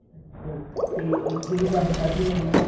ਅੱਛਾ ਤੇ ਇੱਥੇ ਵੀ ਕੰਮ ਕਾਰ ਹੋਣਾ ਉਹਨਾ ਦਾ